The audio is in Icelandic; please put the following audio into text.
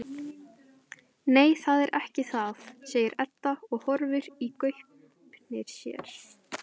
Nei, það er ekki það, segir Edda og horfir í gaupnir sér.